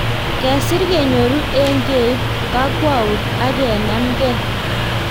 Kesir kenyoru eng keip kakwout ak kenemgei